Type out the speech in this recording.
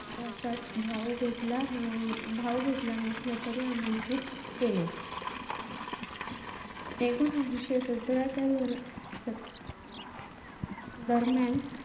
भाव घेतला~ भाव घेतला नसला तरी आमंत्रित केले. एकोणवीसशे सतराच्या दर~ दरम्यान,